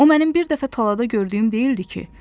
O mənim bir dəfə talada gördüyüm deyildi ki?